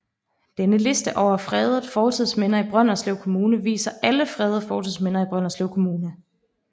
Denne liste over fredede fortidsminder i Brønderslev Kommune viser alle fredede fortidsminder i Brønderslev Kommune